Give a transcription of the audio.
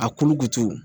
A kolo kutuku